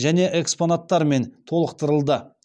және экспонаттармен толықтырылды